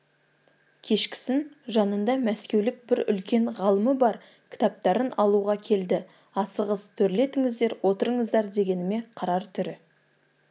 кешкісін жанында мәскеулік бір үлкен ғалымы бар кітаптарын алуға келді асығыс төрлетіңіздер отырыңыздар дегеніме қарар түрі